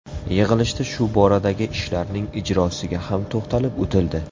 Yig‘ilishda shu boradagi ishlarning ijrosiga ham to‘xtalib o‘tildi.